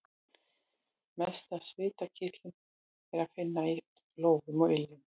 Mest af svitakirtlum er að finna í lófum og iljum.